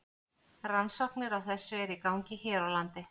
Rannsóknir á þessu eru í gangi hér á landi.